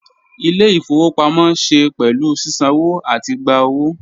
Ile-ifowopamọ ṣe pẹlu sisanwo ati gba owo